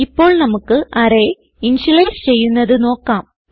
ഇപ്പോൾ നമുക്ക് array initialise ചെയ്യുന്നത് നോക്കാം